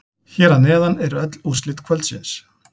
Hér að neðan eru öll úrslit kvöldsins.